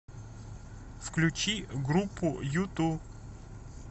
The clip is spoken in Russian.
включи группу юту